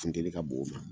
Funteni ka bon o ma